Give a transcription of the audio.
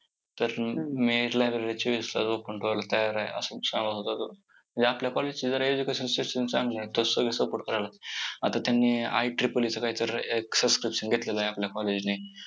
तर मी library ची व्यवस्था open ठेवायला तयार आहे असं सांगत होता तो म्हणजे आपल्या college ची education system जरा चांगली आहे. support करायला आता त्यांनी IEEE कायतर extension घेतलं आहे आपल्या college ने